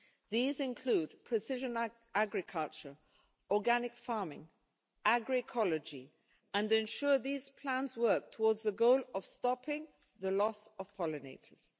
These include precision agriculture, organic farming, agroecology, and ensuring that these plans work towards the goal of stopping the loss of pollinators.